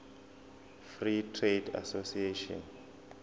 free trade association